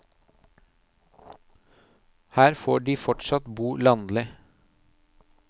Her får de fortsatt bo landlig.